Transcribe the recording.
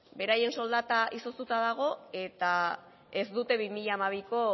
beraien soldata izoztuta dago eta ez dute bi mila hamabiko